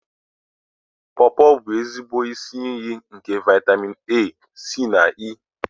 Pọọpọ bụ ezigbo isi iyi nke vaịtamịn A, C na E.